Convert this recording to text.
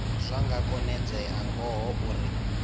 zwa nga konedzea ngaho uri